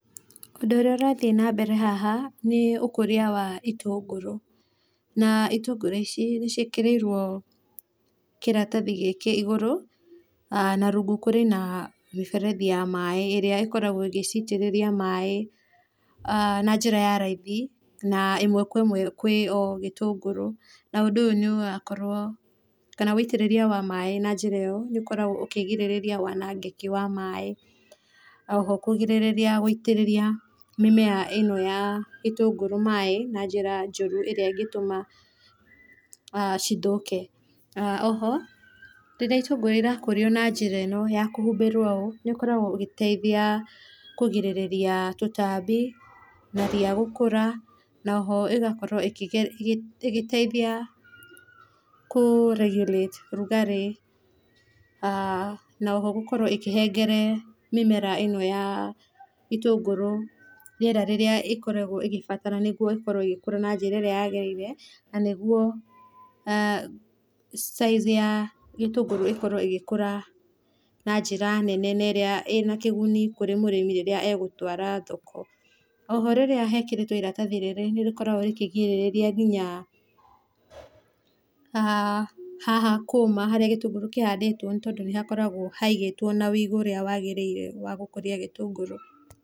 Ũndũ ũrĩa ũrathiĩ na mbere haha nĩ ũkũria wa itũngũrũ na na itũngũrũ ici nĩ ciĩkĩrĩirwo kĩratathĩ gĩkĩ ĩgũrũ na rũngũ kũrĩ na mĩberethĩ ya maĩ ĩrĩa ĩkoragwo ĩgĩcitĩrĩria maĩ na njĩra ya raithi, na ĩmwe kwa ĩmwe kwĩ o gĩtũngũrũ na ũndũ ũyũ nĩ ũrakorwo, kana wĩtĩrĩria wa maĩ na njĩra ĩyo nĩ ũkoragwo ũkĩgĩrĩria wanangĩkĩ wa maĩ, oho kũgĩrĩria gũitĩrĩria mĩmera ĩno ya itũngũrũ maĩ na njĩra njorũ ĩrĩa ĩngĩtũma cithũke. Oho rĩrĩa ĩtũngũrũ ĩrakũrio na njĩra ĩno ya kũhumbĩrwo ũũ nĩ ĩkoragwo ũgĩteithia kũgirĩrĩria tũtambi na ria gũkũra, na oho ĩgakorwo ĩgĩteithia kũ regulate ũrugarĩ, na oho gũkorwo ĩkĩhengera mĩmera ĩno ya itũngũrũ rĩera rĩrĩa ĩkoragwo ĩkĩbatara na nĩguo ĩkorwo ĩgĩkũra na njĩra ĩrĩa yagĩrĩire, na nĩguo size ya gĩtũngũrũ ĩkorwo ĩgĩkũra na njĩra nene na ĩrĩa ĩna kũgũnĩ kũrĩ mũrĩmi rĩrĩa egũtwara thoko. Oho rĩrĩa hekĩrĩtwo iratathĩ rĩrĩ nĩrĩkoragwo rĩkĩgĩrĩrĩria ngĩnya haha kũũma, harĩa gĩtũngũrũ kĩhandĩtwo, nĩ tondũ hakoragwo haigĩtwo na wĩigũ ũrĩa wagĩrĩire wa gũkũrĩa gĩtũngũrũ.